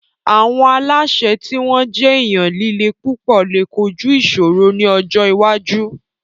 Àwọn aláṣẹ tí wọ́n jẹ́ èèyàn líle púpọ̀ lè kojú ìṣòro ní ọjọ́ iwájú